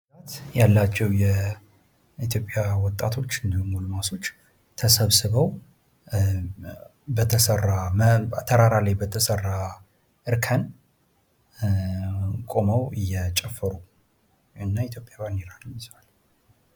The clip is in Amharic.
የኢትዮጵያ ወጣቶች ተራራ ላይ በተሰራ እርከን ላይ ተሰብስበው እየጨፈሩ ሲሆን የኢትዮጵያን ባንዲራም ይዘዋል።